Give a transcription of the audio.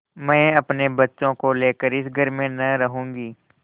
मैं अपने बच्चों को लेकर इस घर में न रहूँगी